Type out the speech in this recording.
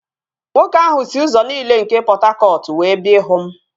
Nwoke ahụ si ụzọ niile nke Pọt Hakọt wee bịa ịhụ m